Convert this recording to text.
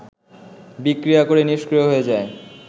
বিক্রিয়া করে নিষ্ক্রিয় হয়ে যায়